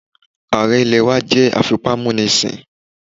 Ààrẹ ilẹ̀ wá jẹ́ afipámúnisìn